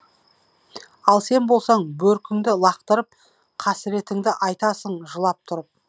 ал сен болсаң бөркіңді лақтырып қасіретіңді айтасың жылап тұрып